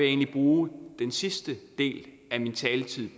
egentlig bruge den sidste del af min taletid